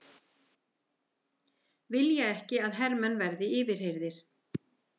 Vilja ekki að hermenn verði yfirheyrðir